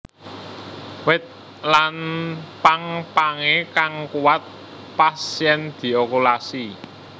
Wit lan pang pangé kang kuwat pas yèn diokulasi